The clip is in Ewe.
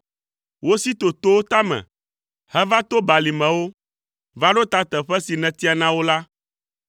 Wosi to towo tame, heva to balimewo, va ɖo teƒe si nètia na wo la.